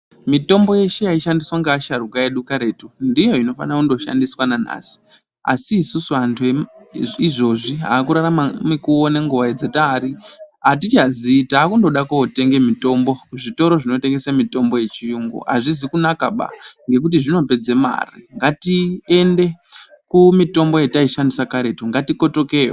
Mitombo yedu yeshe yaishandiswa ngeasharukwa edu karetu ndiyo inofana kundoshandiswa nanhasi asi isusus antu eizvizvi akurarama mukuwo nenguwa dzatari atichazii takundode kotenge mutombo kuzvitoro zvinotengese mitombo yechiyungu azvizi kunakaba ngekuti zvinopedze mari ngatiende kumitonho yatakshandisa karetu. Ngatikotokeyo.